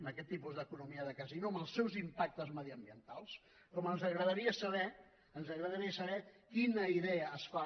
amb aquest tipus d’economia de casino amb els seus impactes mediambientals com ens agradaria saber ens agradaria saber quina idea es fa